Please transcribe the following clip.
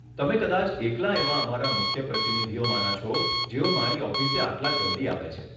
તમે કદાચ એકલા એવાં અમારા મુખ્ય પ્રતિનિધિઓમાંના છો, જેઓ મારી ઓફિસે આટલા જલ્દી આવે છે.